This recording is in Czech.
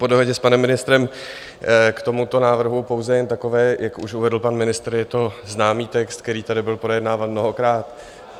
Po dohodě s panem ministrem k tomuto návrhu pouze jen takové, jak už uvedl pan ministr, je to známý text, který tady byl projednáván mnohokrát.